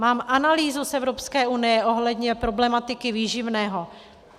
Mám analýzu z Evropské unie ohledně problematiky výživného.